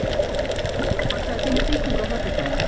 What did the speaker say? Hjörleifur, pantaðu tíma í klippingu á föstudaginn.